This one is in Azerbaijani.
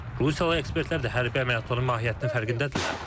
Rusiyalı ekspertlər də hərbi əməliyyatların mahiyyətinin fərqindədirlər.